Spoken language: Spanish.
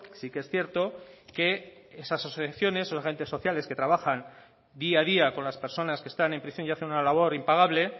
que esas asociaciones esos agentes sociales que trabajan día a día con las personas que están prisión y hacen una labor impagable